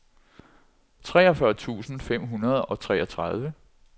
treogfyrre tusind fem hundrede og treogtredive